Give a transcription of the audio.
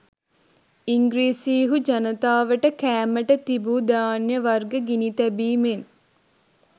ඉංග්‍රීසිහු ජනතාවට කෑමට තිබූ ධාන්‍ය වර්ග ගිනි තැබීමෙන්